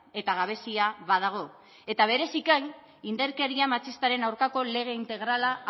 eta gabezia badago eta bereziki indarkeria matxistaren aurkako lege integrala